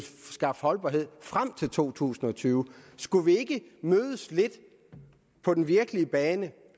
skaffe holdbarhed frem til to tusind og tyve skulle vi ikke mødes lidt på den virkelige bane